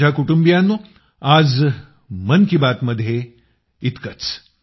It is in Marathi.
माझ्या कुटुंबियानो आज मन की बातमध्ये यावेळी इतकंच